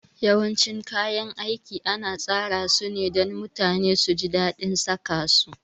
Yawancin kayan aiki ana tsara sune dan mutane suji dadin saka su